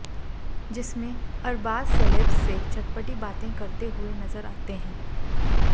जिसमें अरबाज सेलेब्स से चटपटी बातें करते हुए नजर आते हैं